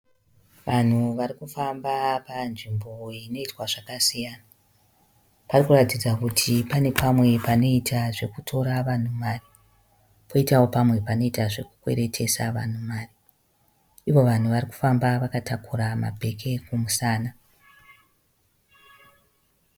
Vanhu varikufamba panzvimbo inoitwa zvakasiyana. Parikuradza kuti pane pamwe panoita zvekutora vanhu mari, panoita zvekukweeetesa vanhu mari. Ivo vanhu varikufamba vakatakura mabhegi kumusana.